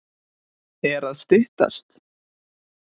Er að styttast?